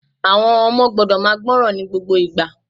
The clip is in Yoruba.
Àwon ọmọ gbọ́dọ̀ máa gbọ́ràn ní gbogbo ìgbà